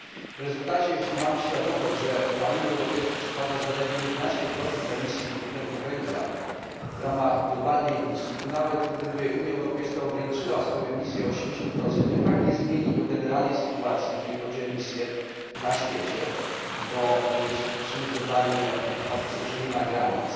W rezultacie, jeśli mamy świadomość, że na Unię Europejską przypada zaledwie 11 emisji dwutlenku węgla w ramach globalnej emisji, to nawet, gdyby Unia Europejska ograniczyła swoją emisję o 80, to i tak nie zmieni to generalnej sytuacji, jeżeli chodzi o emisję na świecie, bo jeśli popatrzymy globalnie w atmosferze nie ma granic,